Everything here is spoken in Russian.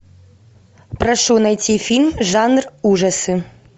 прошу найти фильм жанр ужасы